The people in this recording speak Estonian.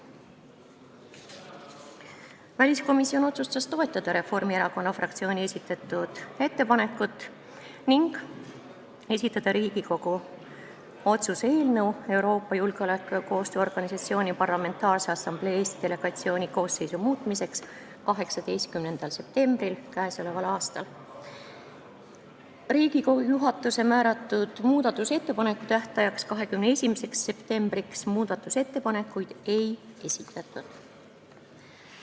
Väliskomisjon otsustas toetada Reformierakonna fraktsiooni esitatud ettepanekut ning esitada Riigikogu otsuse eelnõu Euroopa Julgeoleku- ja Koostööorganisatsiooni Parlamentaarse Assamblee Eesti delegatsiooni koosseisu muutmiseks 18. septembril k.a. Riigikogu juhatuse määratud muudatusettepanekute esitamise tähtajaks, 21. septembriks muudatusettepanekuid ei esitatud.